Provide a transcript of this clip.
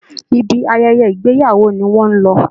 Ibi ayẹyẹ ìgbéyàwó ni wọ́n lọ